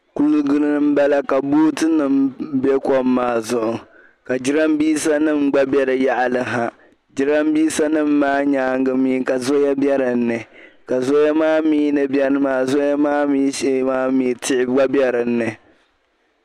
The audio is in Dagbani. Kuligi ni m-bala ka bootinim' be kom maa zuɣu ka jarambiisanima gba be di yaɣili ha jarambiisanim' maa nyaanga mi ka zɔya be din ni ka zɔya maa mi ni beni maa zɔya maa mi shee maa mi tihi gba be dinni.